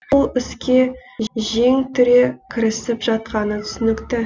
бұл іске жең түре кірісіп жатқаны түсінікті